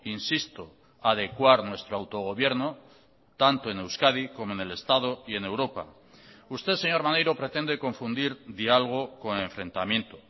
insisto adecuar nuestro autogobierno tanto en euskadi como en el estado y en europa usted señor maneiro pretende confundir dialogo con enfrentamiento